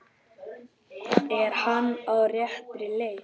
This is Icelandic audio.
Er hann á réttri leið?